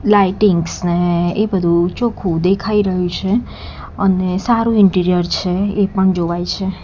Lightings ને એ બધું ચોખ્ખું દેખાય રહ્યું છે અને સારું ઇન્ટિરિયર છે એ પણ જોવાય છે.